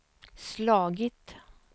slagit